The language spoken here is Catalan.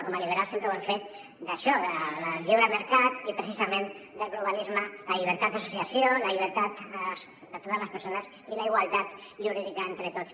com a liberals sempre ho hem fet d’això del lliure mercat i precisament del globalisme la llibertat d’associació la llibertat de totes les persones i la igualtat jurídica entre tots